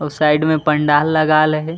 अऊ साइड में पंडाल लगा ल हे।